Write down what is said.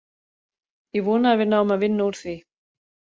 Ég vona að við náum að vinna úr því.